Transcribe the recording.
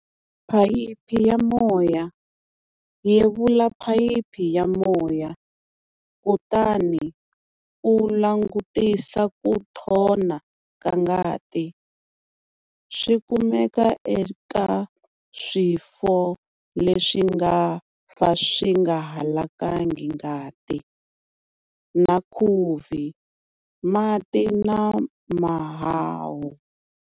Phayiphi ya moya-Yevula phayiphi ya moya kutani u langutisa ku nthona ka ngati swi kumeka eka swifo leswi nga fa swi nga halakangi ngati na khuvi mati na mahahu.